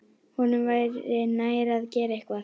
Honum væri nær að gera eitthvað.